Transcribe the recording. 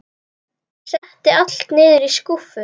Setti allt niður í skúffu.